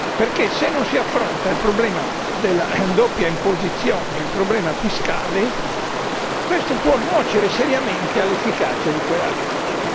Perché se non si affronta il problema della doppia imposizione, il problema fiscale, ciò può nuocere seriamente all'efficacia di quella legge.